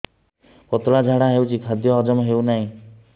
ପତଳା ଝାଡା ହେଉଛି ଖାଦ୍ୟ ହଜମ ହେଉନାହିଁ